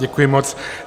Děkuji moc.